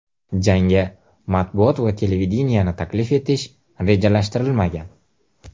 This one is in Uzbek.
Jangga matbuot va televideniyeni taklif etish rejalashtirilmagan.